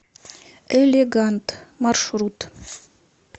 элегант маршрут